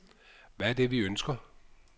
Hvad er det vi ønsker?